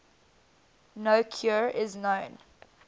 no cure is known